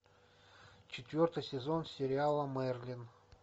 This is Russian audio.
четвертый сезон сериала мерлин